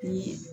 Ni